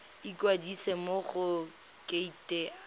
ikwadisa mo go kereite r